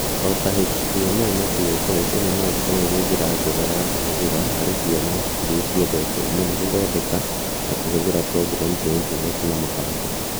O ta HTML na CSS, ĩno no ĩkorũo ĩrĩ njĩra njega ya kũhũthĩra harĩ ciana iria ciendete mũno gũthondeka na kũhũthĩra programu cia intaneti na mũbango.